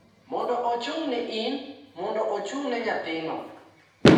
mondo ochung’ne in, mondo ochung’ne nyathino.